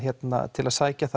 til að sækja